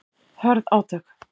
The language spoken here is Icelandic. Hörð átök